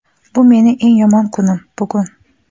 "Bu meni eng yomon kunim, bugun."